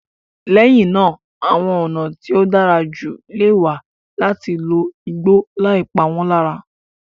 Lẹ́yìn náà, àwọn ọ̀nà tí ó dára jù lè wà láti lo igbó láì pa wọ́n lára.